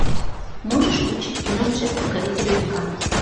можешь включить кино джек покоритель великанов